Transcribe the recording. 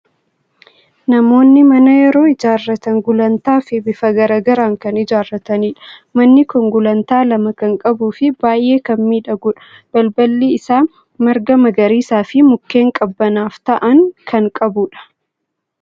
Namoonni mana yeroo ijaarratan gulantaa fi bifa garaa garaan kan ijaarratanidha. Manni kun gulantaa lama kan qabuu fi baay'ee kan miidhagudha! Balballi isaa marga magariisaa fi mukkeen qabbanaaf ta'an kan qabudha.